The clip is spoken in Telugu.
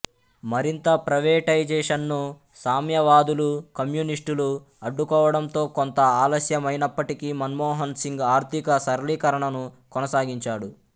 మరింత ప్రైవేటైజేషన్ను సామ్యవాదులు కమ్యూనిస్టులూ అడ్డుకోవడంతో కొంత ఆలస్యమైనప్పటికీ మన్మోహన్ సింగ్ ఆర్థిక సరళీకరణను కొనసాగించాడు